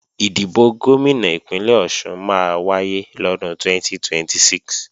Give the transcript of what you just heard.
Ìdìbò Gómìnà Ìpínlẹ̀ Ọ̀ṣun máa wáyé lọ́dún 2026